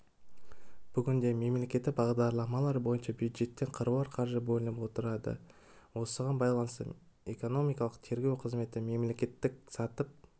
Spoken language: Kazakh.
бүгінде мемлекеттік бағдарламалар бойынша бюджеттен қыруар қаржы бөлініп отырады осыған байланысты экономикалық тергеу қызметі мемлекеттік сатып